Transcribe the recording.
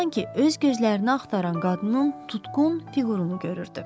Sanki öz gözlərini axtaran qadının tutqun fiqurunu görürdü.